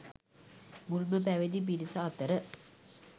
මුල්ම පැවිදි පිරිස අතර